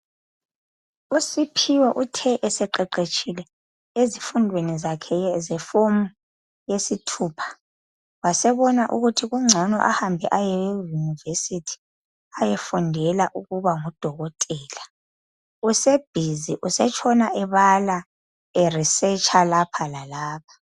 USiphiwe uthe eseqeqetshile ezifundweni zakhe zeform lesithupha wasebona ukuthi kungcono ahambe ayeUniversity ayefundela ukuba ngudokotela. Usebhizi usetshona ebala eresearcher lapha lalapha.